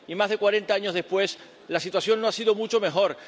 Y más de cuarenta años después, la situación no es mucho mejor.